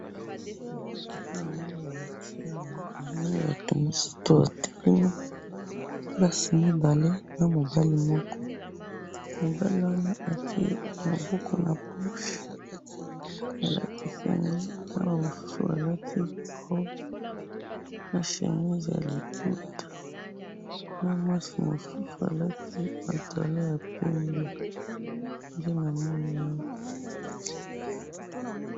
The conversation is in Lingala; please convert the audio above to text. Namoni batu misatu, basi mibale na mobali moko , mwasi moko alati chemise ya liputa na pantalon ya pembe, na mwasi mususu robe ya liputa, na mobali single ya pembe.